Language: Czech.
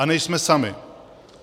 A nejsme sami.